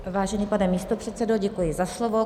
Vážený pane místopředsedo, děkuji za slovo.